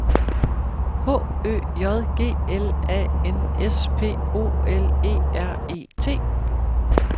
H Ø J G L A N S P O L E R E T